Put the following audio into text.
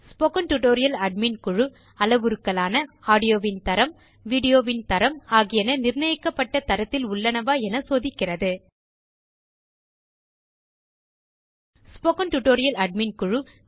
spoken tutorial admin குழு அளவுருக்களான audio ன் தரம் வீடியோ ன் தரம் ஆகியன நிர்ணயிக்கப்பட்ட தரத்தில் உள்ளனவா என சோதிக்கிறது ஸ்போக்கன் டியூட்டோரியல் ஏடிஎம்என்